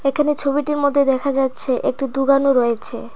এখানে ছবিটির মধ্যে দেখা যাচ্ছে একটি দুকানও রয়েছে।